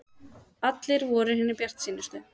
Allir voru hinir bjartsýnustu.